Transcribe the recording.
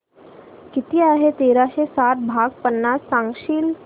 किती आहे तेराशे साठ भाग पन्नास सांगशील